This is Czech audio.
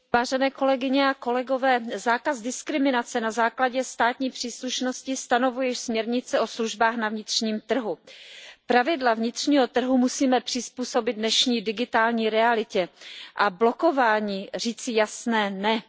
Pane předsedající, zákaz diskriminace na základě státní příslušnosti stanovuje již směrnice o službách na vnitřním trhu. Pravidla vnitřního trhu musíme přizpůsobit dnešní digitální realitě a blokování říci jasné ne.